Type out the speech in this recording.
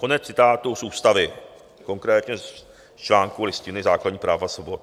Konec citátu z ústavy, konkrétně z článku Listiny základních práv a svobod.